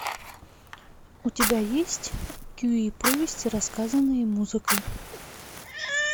у тебя есть кюи повести рассказанные музыкой